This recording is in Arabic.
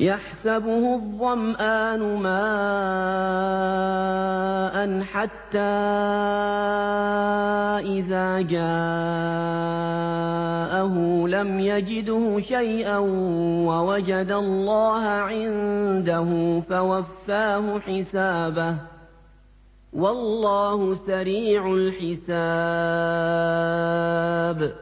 يَحْسَبُهُ الظَّمْآنُ مَاءً حَتَّىٰ إِذَا جَاءَهُ لَمْ يَجِدْهُ شَيْئًا وَوَجَدَ اللَّهَ عِندَهُ فَوَفَّاهُ حِسَابَهُ ۗ وَاللَّهُ سَرِيعُ الْحِسَابِ